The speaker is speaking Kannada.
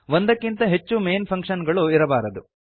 ಒಂದಕ್ಕಿಂತ ಹೆಚ್ಚು ಮೈನ್ ಫಂಕ್ಷನ್ ಗಳು ಇರಬಾರದು